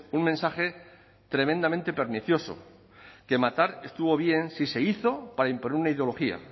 un mensaje tremendamente pernicioso que matar estuvo bien si se hizo para imponer una ideología